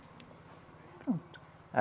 Pronto.